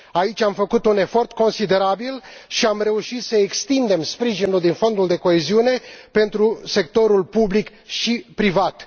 Aici am făcut un efort considerabil și am reușit să extindem sprijinul din Fondul de coeziune pentru sectorul public și privat.